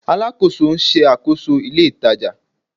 Alakoso n ṣakoso ile itaja